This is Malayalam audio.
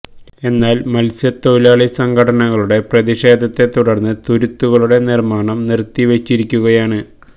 എന്നാല് മത്സ്യതൊഴിലാളി സംഘടനകളുടെ പ്രതിഷേധത്തെ തുടര്ന്ന് തുരുത്തുകളുടെ നിര്മാണം നിര്ത്തി വെച്ചിരിക്കുകയാണ്്